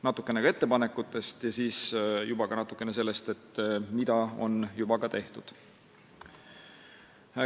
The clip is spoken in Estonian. Natukene räägin ka ettepanekutest ja siis sellest, mida on juba tehtud.